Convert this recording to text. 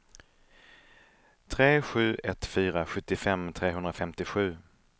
tre sju ett fyra sjuttiofem trehundrafemtiosju